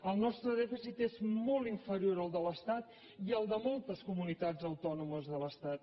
el nostre dèficit és molt inferior al de l’estat i al de moltes comunitats autònomes de l’estat